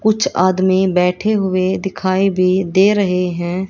कुछ आदमी बैठे हुए दिखाई भी दे रहे है।